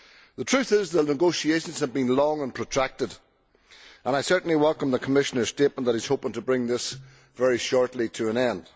The truth is that the negotiations have been long and protracted, and I certainly welcome the Commissioner's statement that he is hoping to bring this very shortly to an end.